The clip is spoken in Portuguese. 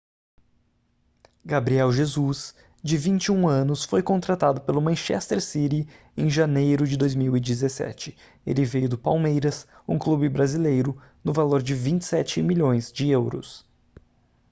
gabriel jesus de 21 anos foi contratado pelo manchester city em janeiro de 2017 ele veio do palmeiras um clube brasileiro no valor de 27 milhões de euros